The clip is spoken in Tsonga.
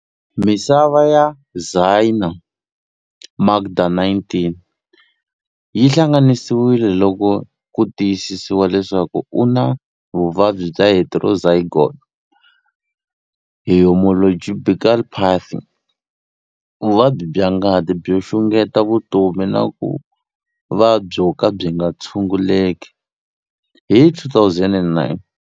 Misava ya Zyaan Makda, 19, yi hlangananisiwile loko ku tiyisisiwa leswaku u na vuvabyi bya heterozygote haemoglobinopathy, vuvabyi bya ngati byo xungeta vutomi na ku va byo ka byi nga tshunguleki, hi 2009.